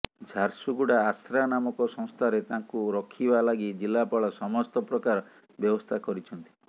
ଝାରସୁଗୁଡା ଆଶ୍ରା ନାମକ ସଂସ୍ଥାରେ ତାଙ୍କୁ ରଖିବା ଲାଗି ଜିଲ୍ଲାପାଳ ସମସ୍ତ ପ୍ରକାର ବ୍ୟବସ୍ଥା କରିଛନ୍ତି